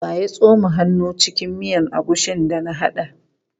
Wa ya tsoma hannu cikin mutane agushin da na haɗa?